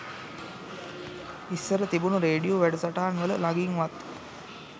ඉස්සර තිබුන රේඩියෝ වැඩසටහන්වල ළගින්වත්